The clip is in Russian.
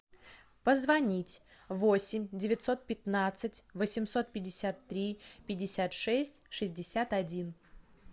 позвонить восемь девятьсот пятнадцать восемьсот пятьдесят три пятьдесят шесть шестьдесят один